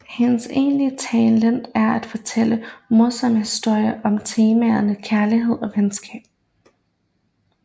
Hendes egentlige talent er at fortælle morsomme historier om temaerne kærlighed og venskab